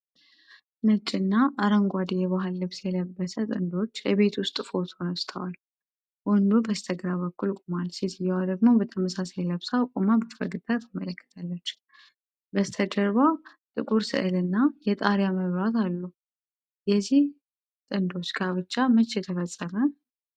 ነጭና አረንጓዴ የባህል ልብስ የለበሰ ጥንዶች የቤት ውስጥ ፎቶ ተነስተዋል፡፡ ወንዱ በስተግራ በኩል ቆሟል፤ ሴትየዋ ደግሞ በተመሳሳይ ለብሳ ቆማ በፈገግታ ትመለከታለች። በስተጀርባ ጥቁር ስዕል እና የጣሪያ መብራት አሉ። የዚህ ጥንዶች ጋብቻ መቼ ተፈጸመ?